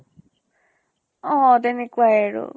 অহ তেনেকুৱাই আৰু।